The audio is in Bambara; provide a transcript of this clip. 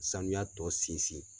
Sanuya tɔ sinsin.